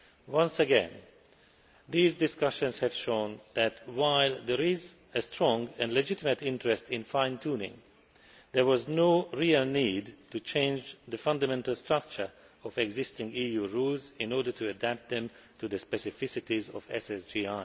Once again, these discussions have shown that, while there is a strong and legitimate interest in fine tuning, there was no real need to change the fundamental structure of existing EU rules in order to adapt them to the specificities of SSGI.